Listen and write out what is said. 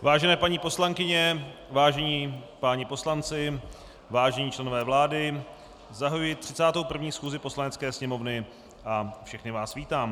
Vážené paní poslankyně, vážení páni poslanci, vážení členové vlády, zahajuji 31. schůzi Poslanecké sněmovny a všechny vás vítám.